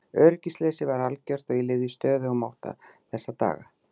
Öryggisleysið var algjört og ég lifði í stöðugum ótta þessa daga.